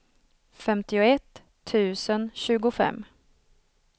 femtioett tusen tjugofem